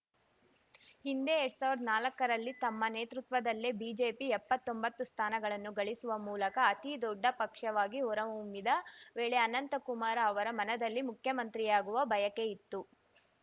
ಹಿಂದೆ ಎರಡ್ ಸಾವಿರ್ದಾ ನಾಲಕ್ಕರಲ್ಲಿ ತಮ್ಮ ನೇತೃತ್ವದಲ್ಲೇ ಬಿಜೆಪಿ ಎಪ್ಪತ್ತೊಂಬತ್ತು ಸ್ಥಾನಗಳನ್ನು ಗಳಿಸುವ ಮೂಲಕ ಅತಿದೊಡ್ಡ ಪಕ್ಷವಾಗಿ ಹೊರಹೊಮ್ಮಿದ್ದ ವೇಳೆ ಅನಂತಕುಮಾರ ಅವರ ಮನದಲ್ಲಿ ಮುಖ್ಯಮಂತ್ರಿಯಾಗುವ ಬಯಕೆಯಿತ್ತು